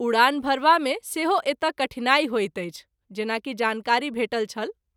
उड़ान भरबा मे सेहो एतय कठिनाई होइत अछि जेना कि जानकारी भेटल छल।